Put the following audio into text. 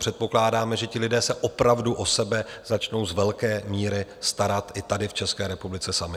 Předpokládáme, že ti lidé se opravdu o sebe začnou z velké míry starat i tady v České republice sami.